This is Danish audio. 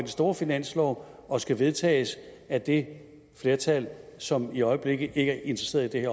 store finanslov og skal vedtages af det flertal som i øjeblikket ikke er interesseret i